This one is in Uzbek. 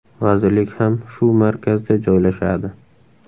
Vazirlik ham shu markazda joylashadi.